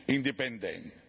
indipendente.